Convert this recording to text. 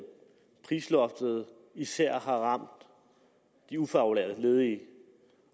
at prisloftet især har ramt de ufaglærte ledige